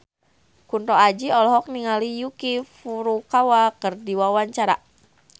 Kunto Aji olohok ningali Yuki Furukawa keur diwawancara